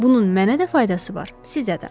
Bunun mənə də faydası var, sizə də.